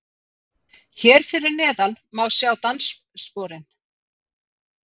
Hér fyrir neðan má sjá danssporin